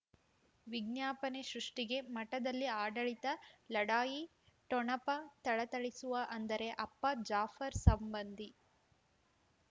ವಿಜ್ಞಾಪನೆ ಸೃಷ್ಟಿಗೆ ಮಠದಲ್ಲಿ ಆಡಳಿತ ಲಢಾಯಿ ಠೊಣಪ ಥಳಥಳಿಸುವ ಅಂದರೆ ಅಪ್ಪ ಜಾಫರ್ ಸಂಬಂಧಿ